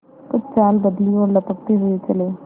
कुछ चाल बदली और लपकते हुए चले